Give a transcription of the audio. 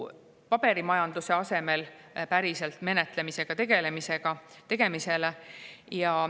Paberimajanduse asemel päriselt menetlemiseks.